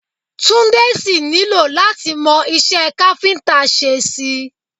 Túndé sì nílò láti mọ iṣẹ́ káfíńtà ṣe sí i